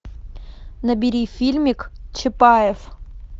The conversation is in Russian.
набери фильмик чапаев